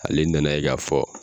Ale nan' a ye k'a fɔ